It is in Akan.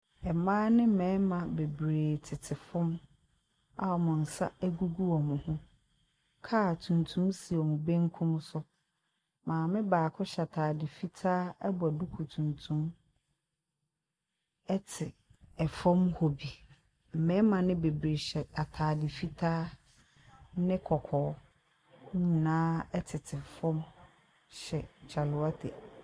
Mmaa ne mmarima bebree tete fam a wɔn nsa gugu wɔn ho. Car tuntum si wɔn benkum so. Maame baako hyɛ atade fitaa bɔ duku tuntum te fam hɔ bi. Mmarima no bebree hyɛ atade fitaa ne kɔkɔɔ. Wɔn nyinaa tete fam hyɛ kyale wate.